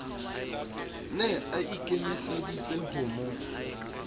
ne a ikemeseditse ho mo